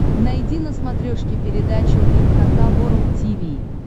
найди на смотрешке передачу эн эйч кей волд ти ви